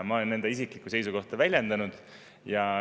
Ma olen enda isiklikku seisukohta väljendanud.